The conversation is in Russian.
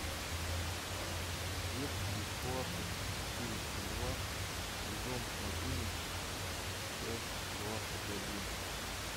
детки из класса четыреста два сезон одиннадцать часть двадцать один